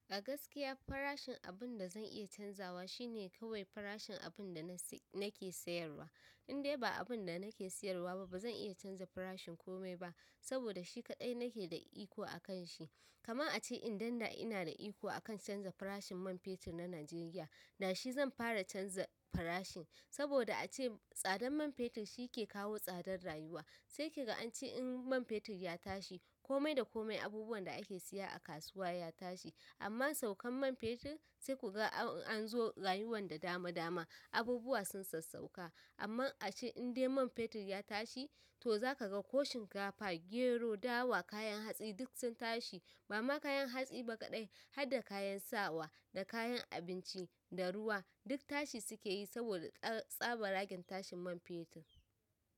A gaskiya farashin abun da zan iya canzawa shine kawai farashin abun da nake sayarwa. In dai ba abun da nake sayarwa ba bazan iya canza farashin komai ba saboda shi kaɗai nake da iko akan shi. Kamar a ce idan da ina da iko akan canza farashin man fetur na Najeriya, da shi zan fara canza farashin, saboda a ce tsadar man fetur shi yake kawo tsadar rayuwa. Sai ki ga an ce in man fetur ya tashi komai da komai abubuwan da ake siya a kasuwa ya tashi. Amma saukan man fetur sai kuga an zo rayuwan da dama dama, abubuwa sun sassauka. Amma a ce in dai man fetur ya tashi to zaka ga koh shinkafa, gero, dawa, kayan hatsi duk sun tashi. Ba ma kayan hatsi ba ƙaidai har da kayan sawa da kayan abinci da ruwa duk tashi suke yi saboda tsaban ragin tashin man fetur.